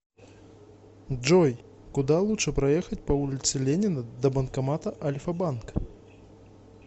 джой куда лучше проехать по улице ленина до банкомата альфа банк